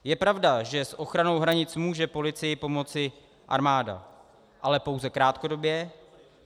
Je pravda, že s ochranou hranic může policii pomoci armáda, ale pouze krátkodobě.